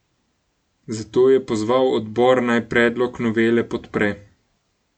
Zato je pozval odbor, naj predlog novele podpre.